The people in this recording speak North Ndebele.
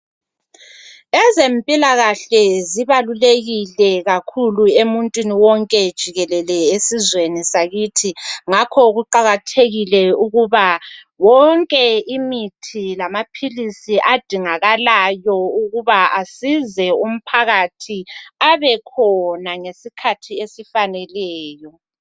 Ezempilakahle zibalulekile kakhulu emuntwini wonke jikelele esizweni sakithi ngakho kuqakathekile ukuthi yonke imithi lamaphilisi okudingakalayo kubekhona ngesikhathi esifaneleyo.